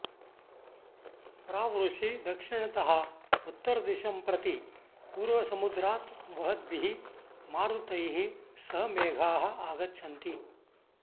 प्रावृषि दक्षिणतः उत्तरदिशं प्रति पूर्वसमुद्रात् वहद्भिः मारुतैः सह मेघाः आगच्छन्ति